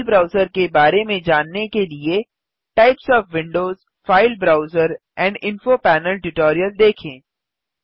file browser के बारे में जानने के लिए types of Windows file browser and info panel tutorial देखें